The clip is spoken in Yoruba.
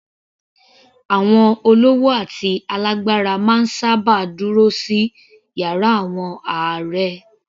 Àwọn olówó àti alágbára máa ń sábà dúró sí yàrá àwọn ààrẹ